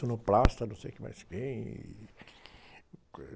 Sonoplasta, não sei quem mais quem, e...